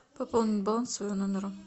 пополнить баланс своего номера